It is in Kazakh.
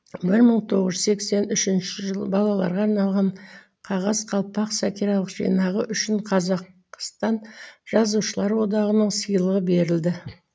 бір мың тоғыз жүз сексен үшінші жылы балаларға арналған қағаз қалпақ сатиралық жинағы үшін қазақстан жазушылар одағының сыйлығы берілді